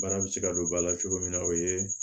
Baara bɛ se ka don ba la cogo min na o ye